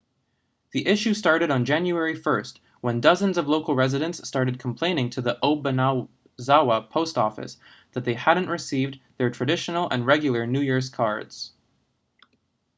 the issue started on january 1st when dozens of local residents started complaining to the obanazawa post office that they hadn't received their traditional and regular new year cards